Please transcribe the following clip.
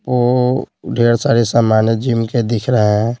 वो ढेर सारे सामान्य जिम के दिख रहे हैं।